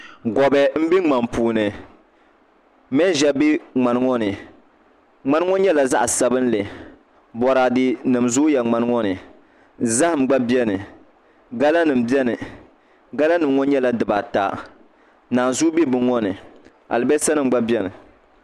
Gobɛ n bɛ ŋmani puuni manʒa bɛ ŋmani ŋo ni ŋmani ŋo nyɛla zaɣ sabinli boraadɛ nim zooya ŋmani ŋo ni zaham gba bɛni gala nim bɛni gala nim ŋo nyɛla dibaata naanzuu bɛ bini ŋo ni alibarisa bɛ bino ŋo ni